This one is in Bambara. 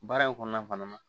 Baara in kɔnɔna fana na